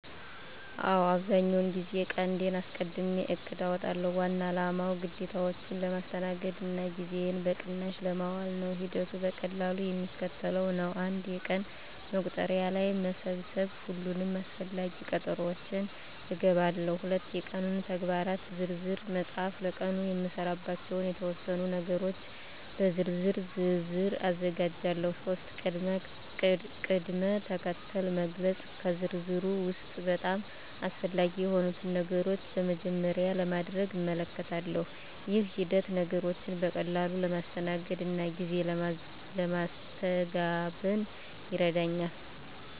አዎ፣ አብዛኛውን ጊዜ ቀንዴን አስቀድሜ እቅድ አውጣለሁ። ዋና አላማው ግዴታዎቼን ለማስተናገድ እና ጊዜዬን በቅናሽ ለማዋል ነው። ሂደቱ በቀላሉ የሚከተለው ነው፦ 1. የቀን መቁጠሪያ ላይ መሰብሰብ ሁሉንም አስፈላጊ ቀጠሮዎቼን እገባለሁ። 2. የቀኑን ተግባራት በዝርዝር መፃፍ ለቀኑ የምሰራባቸውን የተወሰኑ ነገሮች በዝርዝር ዝርዝር አዘጋጃለሁ። 3. ቅድም-ተከተል መግለጽ ከዝርዝሩ ውስጥ በጣም አስፈላጊ የሆኑትን ነገሮች በመጀመሪያ ለማድረግ እመልከታለሁ። ይህ ሂደት ነገሮችን በቀላሉ ለማስተናገድ እና ጊዜ ለማስተጋበን ይረዳኛል።